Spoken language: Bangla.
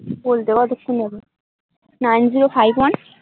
বলতে কতক্ষন যাবে nine -zero -five -one